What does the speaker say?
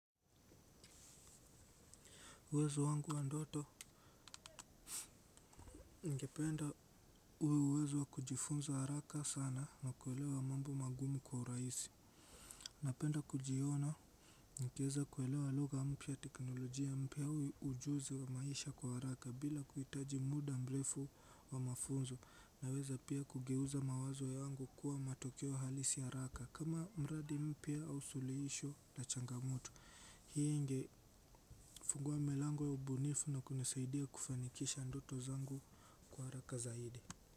Uwezo wangu wa ndoto ningependa uwe uwezo wa kujifunza haraka sana na kuelewa mambo magumu kwa urahisi. Napenda kujiona nikieza kuelewa lugha mpya teknolojia mpya huu ujuzi wa maisha kwa haraka bila kuhitaji muda mrefu wa mafunzo. Naweza pia kugeuza mawazo yangu kuwa matokeo halisi haraka kama mradi mpya au suluhisho la changamoto hii ingefungua milango ya ubunifu na kunisaidia kufanikisha ndoto zangu kwa haraka zaidi.